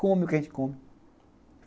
Come o que a gente come.